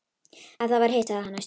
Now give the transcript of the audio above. Ef það var hitt, sagði hann æstur: